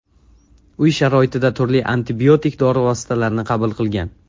U uy sharoitida turli antibiotik dori vositalarni qabul qilgan.